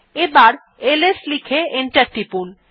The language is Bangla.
এবার এলএস লিখে এন্টার টিপুন